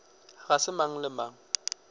ga se mang le mang